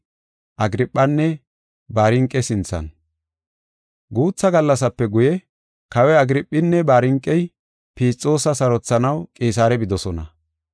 Guutha gallasape guye Kawoy Agirphinne Barniqey Fisxoosa sarothanaw Qisaare bidosona.